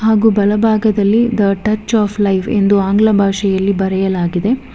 ಹಾಗು ಬಲಭಾಗದಲ್ಲಿ the touch of life ಎಂದು ಆಂಗ್ಲ ಭಾಷೆಯಲ್ಲಿ ಬರೆಯಲಾಗಿದೆ.